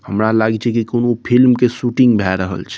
हमरा लागे छै की कूनू फिल्म के शूटिंग भए रहल छै।